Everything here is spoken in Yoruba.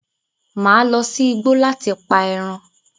Màá lọ sí igbo láti pa ẹran.